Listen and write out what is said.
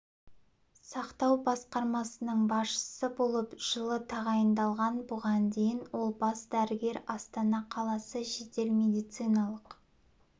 сақтау басқармасының басшысы болып жылы тағайындалған бұған дейін ол бас дәрігер астана қаласы жедел медициналық